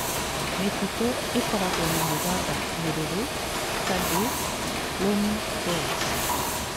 Mĩtitũ ĩrĩa ĩkoragwo na mũthanga mũruru (Sandy loamy soils).